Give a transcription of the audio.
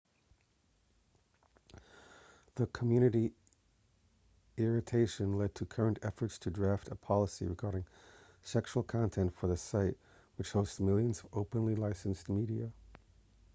the community irritation led to current efforts to draft a policy regarding sexual content for the site which hosts millions of openly-licensed media